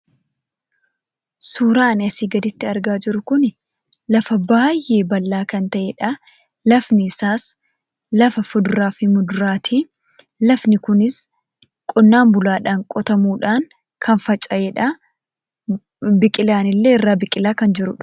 Suuraa ani asii gaditti argaa jiru kuni lafa baay'ee bal'aa kan ta'edha. Lafni isaas lafa fuduraa fi muduraati. Lafni kunis qonnaa bulaadhaan qotamuudhaan kan faca'edha. Biqilaan illee irraa biqilaa kan jirudha.